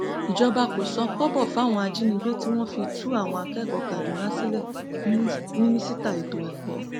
ìjọba kò san kọbọ fáwọn ajínigbé tí wọn fi tú àwọn akẹkọọ kaduna sílẹ mínísítà ètò ẹkọ